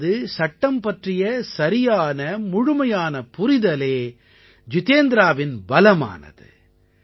அதாவது சட்டம் பற்றிய சரியானமுழுமையான புரிதலே ஜிதேந்த்ராவின் பலமானது